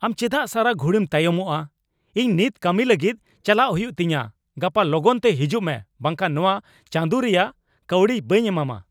ᱟᱢ ᱪᱮᱫᱟᱜ ᱥᱟᱨᱟ ᱜᱷᱩᱲᱤᱢ ᱛᱟᱭᱚᱢᱚᱜᱼᱟ ? ᱤᱧ ᱱᱤᱛ ᱠᱟᱹᱢᱤ ᱞᱟᱹᱜᱤᱫ ᱪᱟᱞᱟᱜ ᱦᱩᱭᱩᱜ ᱛᱤᱧᱟᱹ ! ᱜᱟᱯᱟ ᱞᱚᱜᱚᱱ ᱛᱮ ᱦᱤᱡᱩᱜ ᱢᱮ ᱵᱟᱝᱠᱷᱟᱱ ᱱᱚᱶᱟ ᱪᱟᱸᱫᱩ ᱨᱮᱭᱟᱜ ᱠᱟᱹᱣᱰᱤ ᱵᱟᱹᱧ ᱮᱢᱟᱢᱟ ᱾